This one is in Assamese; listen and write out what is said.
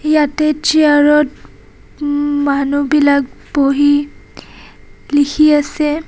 ইয়াতে চিয়াৰ ত উম্ মানুহবিলাক বহি লিখি আছে.